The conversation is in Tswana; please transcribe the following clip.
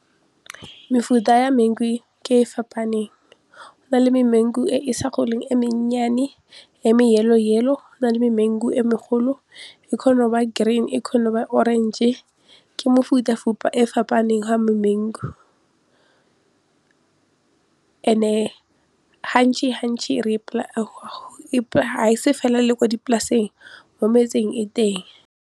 Mefuta ya mangu ke e fapaneng, go na le mangu e e sa goleng e mennyane yellow yellow, go nale memangu e megolo e kgona go ba green e kgona go ba orange ke mefutafuta e fapaneng ya memangu and-e ga e se fela le ko dipolaseng mo metseng e teng.